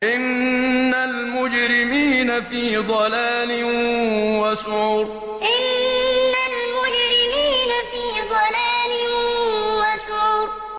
إِنَّ الْمُجْرِمِينَ فِي ضَلَالٍ وَسُعُرٍ إِنَّ الْمُجْرِمِينَ فِي ضَلَالٍ وَسُعُرٍ